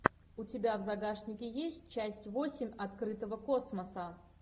у тебя в загашнике есть часть восемь открытого космоса